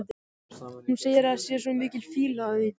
Hún segir að það sé svo mikil fýla af því.